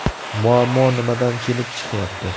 Muammo nimadan kelib chiqyapti?